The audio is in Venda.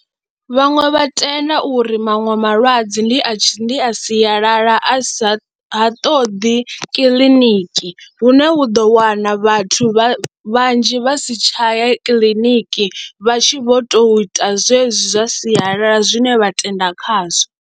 Vhaṅwe vha tenda uri maṅwe malwadze ndi a ndi a sialala a sa ha ṱoḓi kiḽiniki hune u ḓo wana vhathu vha vhanzhi vha si tsha ya kiḽiniki vha tshi vho tou ita zwezwi zwa sialala zwine vha tenda khazwo.